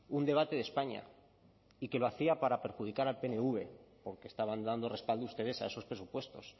un debate de españa y que lo hacía para perjudicar al pnv porque estaban dando respaldo ustedes a esos presupuestos